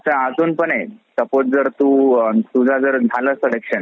त्यांचे अजून पण आहे. suppose तू तुझं जर झालं selection